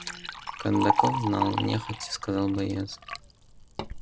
кондаков знал нехотя сказал боец